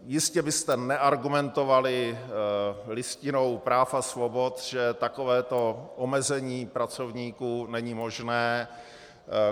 Jistě byste neargumentovali Listinou práv a svobod, že takovéto omezení pracovníků není možné.